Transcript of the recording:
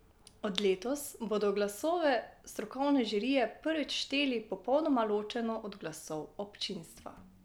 Od letos bodo glasove strokovne žirije prvič šteli popolnoma ločeno od glasov občinstva.